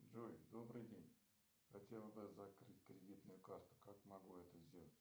джой добрый день хотел бы закрыть кредитную карту как могу это сделать